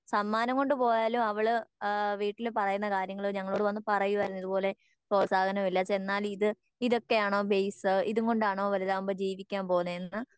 സമ്മാനം കൊണ്ട് പോയാലും അവള് ആഹ് വീട്ടില് പറയുന്ന കാര്യങ്ങൾ ഞങ്ങളോട് വന്ന് പറയുവായിരുന്നു ഇതുപോലെ പ്രോത്സാഹനം ഇല്ല ചെന്നാൽ ഇത് ഇതൊക്കെയാണോ ബെയ്‌സ് ഇതുംകൊണ്ടാണോ വലുതാകുമ്പോ ജീവിക്കാൻ പോകുന്നെന്